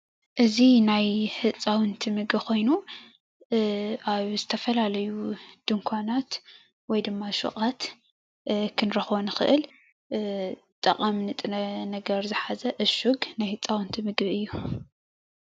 ኣብ መሸጢ መደበር ገዛ ክሽየጥ ዝቀረበ ናይ ህፃውንቲ ጠቃሚ ንጥረ ነገር ምግቢ እዩ።